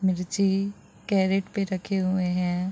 मिर्ची कैरेट पे रखे हुए है।